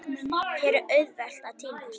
Hér er auðvelt að týnast.